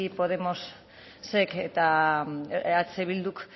podemosek eta eh bilduk